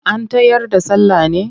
An tayar da sallah ne?